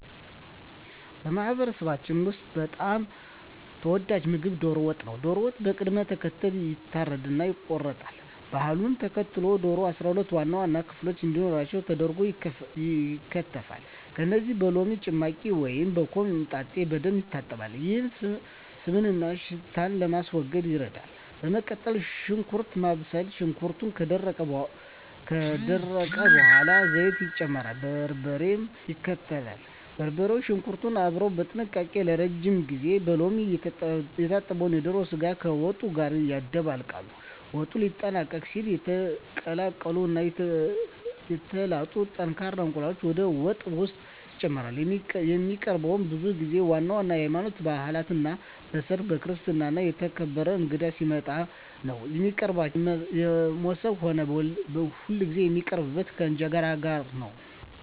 በማህበረሰባችን ውስጥ በጣም ተወዳጁ ምግብ ዶሮ ወጥ ነው። ዶሮው በቅደም ተከተል ይታረድና ይቆረጣል። ባህሉን ተከትሎ ዶሮው 12 ዋና ዋና ክፍሎች እንዲኖሩት ተደርጎ ይከተፋል። ከዚያም በሎሚ ጭማቂ ወይም በኮምጣጤ በደንብ ይታጠባል፤ ይህም ስብንና ሽታን ለማስወገድ ይረዳል። በመቀጠል ሽንኩርት ማብሰል፣ ሽንኩርቱ ከደረቀ በኋላ ዘይት ይጨመርና በርበሬ ይከተላል። በርበሬውና ሽንኩርቱ አብረው በጥንቃቄ ለረጅም ጊዜ ይጠበሳሉ። ቅመማ ቅመም መጨመር፣ በሎሚ የታጠበው የዶሮ ስጋ ከወጡ ጋር ይደባለቃል። ወጡ ሊጠናቀቅ ሲል የተቀቀሉ እና የተላጡ ጠንካራ እንቁላሎች ወደ ወጡ ውስጥ ይጨመራሉ። የሚቀርበውም ብዙ ጊዜ ዋና ዋና የሀይማኖታዊ ባእላት ላይ፣ በሰርግ፣ በክርስትና እና የተከበረ እንግዳ ሲመጣ ነው። የሚቀርበውም በሞሰብ ሆኖ ሁልጊዜ የሚቀርበው ከእንጀራ ጋር ነው።